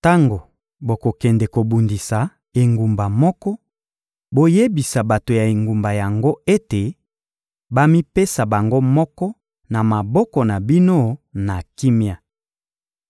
Tango bokokende kobundisa engumba moko, boyebisa bato ya engumba yango ete bamipesa bango moko na maboko na bino na kimia.